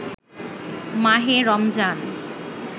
মাহে রমজান